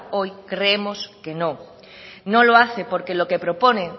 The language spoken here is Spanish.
hoy creemos que no no lo hace porque lo que propone